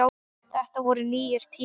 Þetta voru nýir tímar.